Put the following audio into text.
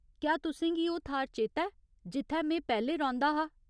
क्या तुसें गी ओह् थाह्‌र चेता ऐ जित्थै में पैह्‌लें रौंह्दा हा ?